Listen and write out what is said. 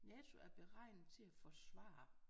NATO er beregnet til at forsvare